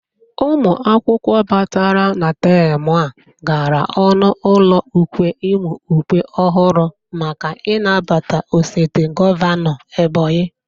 Ụmụ akwụkwọ batara na tem a gara ọnụ ụlọ ukwe ịmụ ukwe ọhụrụ maka ị nabata osote gọvanọ Ebonyi